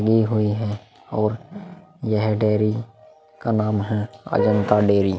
ली हुई है और यह डेरी का नाम है अजंता डेरी ।